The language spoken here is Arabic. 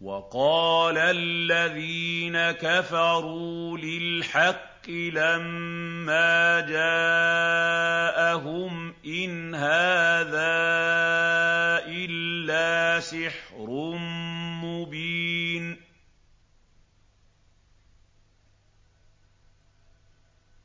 وَقَالَ الَّذِينَ كَفَرُوا لِلْحَقِّ لَمَّا جَاءَهُمْ إِنْ هَٰذَا إِلَّا سِحْرٌ مُّبِينٌ